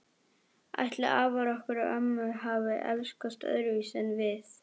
Ætli afar okkar og ömmur hafi elskast öðruvísi en við?